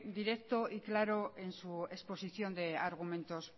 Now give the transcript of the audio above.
directo y claro en su exposición de argumentos